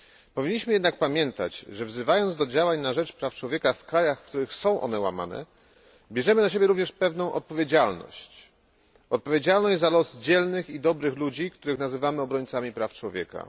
Powinniśmy jednak pamiętać, że wzywając do działań na rzecz praw człowieka w krajach, w których są one łamane, bierzemy również na siebie pewną odpowiedzialność, odpowiedzialność za los dzielnych i dobrych ludzi, których nazywamy obrońcami praw człowieka.